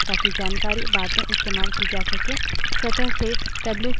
हम इसे file में store करना चाहते हैं ताकि जानकारी बाद में इस्तेमाल की जा सके